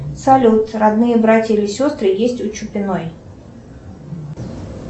салют родные братья или сестры есть у чупиной